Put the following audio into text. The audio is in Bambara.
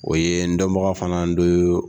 O ye n dɔnbagaw fana n do